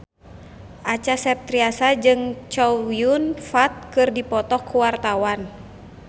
Acha Septriasa jeung Chow Yun Fat keur dipoto ku wartawan